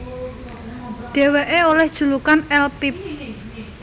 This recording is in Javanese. Dheweke oleh julukan El Pibe